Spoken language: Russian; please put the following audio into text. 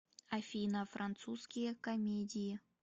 афина французские комедии